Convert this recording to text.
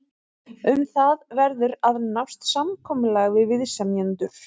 Um það verður að nást samkomulag við viðsemjendur.